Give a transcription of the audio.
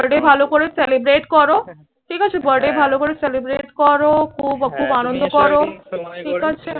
birthday ভালো করে celebrate করো। ঠিক আছে? birthday ভালো করে celebrate করো। খুব খুব আনন্দ করো। ঠিক আছে?